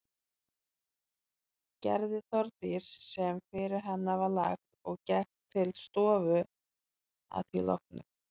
Gerði Þórdís sem fyrir hana var lagt og gekk til stofu að því loknu.